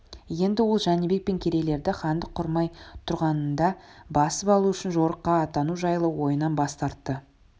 енді ол жәнібек пен керейлерді хандық құрмай тұрғанында басып алу үшін жорыққа аттану жайлы ойынан бас тартты